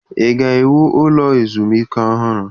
Ị ga-ewu ụlọ ezumike ọhụrụ?